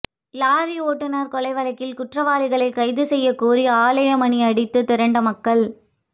lorry ஓட்டுநா் கொலை வழக்குகுற்றவாளிகளை கைது செய்யக் கோரிஆலய மணி அடித்து திரண்ட மக்கள்